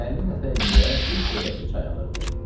Təllinin ətəyində bir xırdaca çay axırdı.